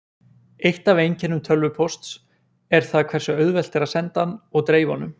Eitt af einkennum tölvupósts er það hversu auðvelt er að senda hann og dreifa honum.